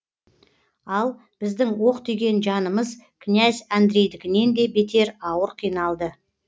ал біздің оқ тиген жанымыз князь андрейдікінен де бетер ауыр қиналды